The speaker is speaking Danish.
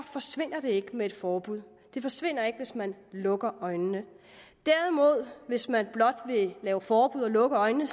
forsvinder den ikke med et forbud den forsvinder ikke hvis man lukker øjnene derimod giver hvis man blot vil lave forbud og lukke øjnene